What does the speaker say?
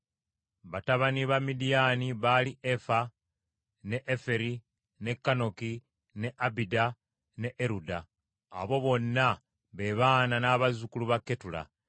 Batabani ba Midiyaani baali Efa, ne Eferi, ne Kanoki, ne Abida ne Eruda. Abo bonna be baana n’abazzukulu ba Ketula.